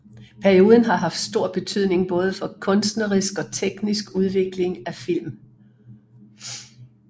Perioden har haft stor betydning både for kunstnerisk og teknisk udvikling af film